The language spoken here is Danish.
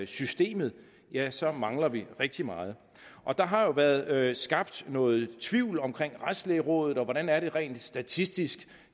systemet ja så mangler vi rigtig meget og der har jo været skabt noget tvivl om retslægerådet hvordan er det rent statistisk